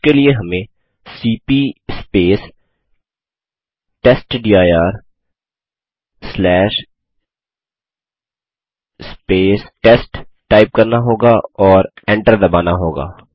उसके लिए हमें सीपी टेस्टडिर टेस्ट टाइप करना होगा और एंटर दबाना होगा